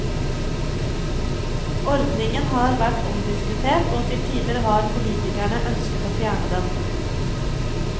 Ordningen har vært omdiskutert og til tider har politikerne ønsket å fjerne den.